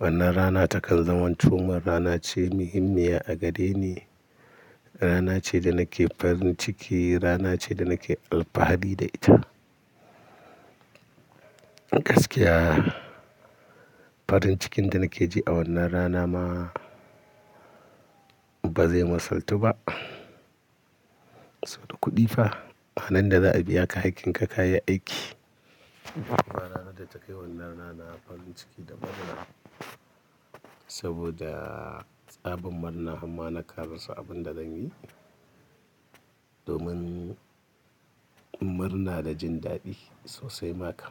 Wannan rana takan zamanto min rana ce muhimmiya a gade ni. Rana ce da nake farin ciki, rana ce da nake alfahari da ita. Gaskiya farin cikin da nake ji a wannan rana ma ba zai matsaltu ba. Toh da kuɗi fa, anan da za a biya ka hakkin ka ka yi aiki. Ba ranar da ta kai wannan rana farin ciki da murna saboda tsabar murna harma karasa abin da zan yi. Domin murna da jin daɗi sosai maka.